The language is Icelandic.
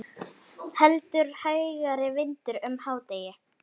Heldur hægari vindur um hádegi